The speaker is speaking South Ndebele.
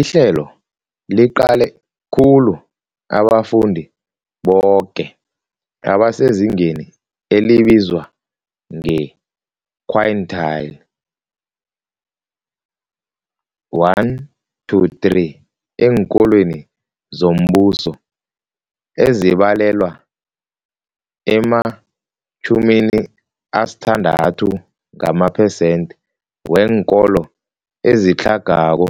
Ihlelo liqale khulu abafundi boke abasezingeni elibizwa nge-quintile 1-3 eenkolweni zombuso, ezibalelwa ema-60 gamaphesenthe weenkolo ezitlhagako